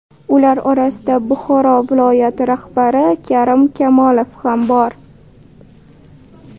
Ular orasida Buxoro viloyati rahbari Karim Kamolov ham bor.